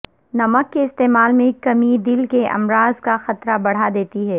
نمک کے استعمال میں کمی دل کے امراض کا خطرہ بڑھا دیتی ہے